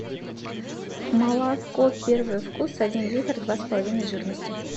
молоко первый вкус один литр два с половиной жирности